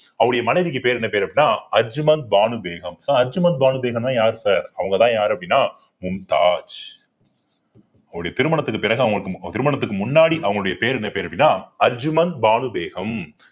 அவருடைய மனைவிக்கு பேர் என்ன பேர் அப்படின்னா அஜ்மந்த் பானு பேகம் sir அஜ்மந்த் பானு பேகம்ன்னா யார் sir அவங்கதான் யாரு அப்படின்னா மும்தாஜ் அவருடைய திருமணத்திற்கு பிறகு அவங்க மு~ திருமணத்துக்கு முன்னாடி அவங்களுடைய பேர் என்ன பேரு அப்படின்னாஅஜ்மந்த் பானு பேகம்